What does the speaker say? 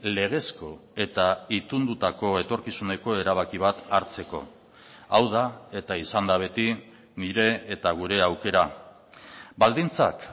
legezko eta itundutako etorkizuneko erabaki bat hartzeko hau da eta izan da beti nire eta gure aukera baldintzak